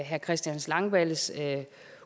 herre christian langballes